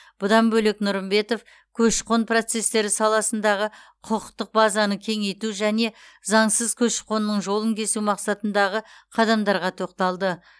бұдан бөлек нұрымбетов көші қон процестері саласындағы құқықтық базаны кеңейту және заңсыз көші қонның жолын кесу мақсатындағы қадамдарға тоқталды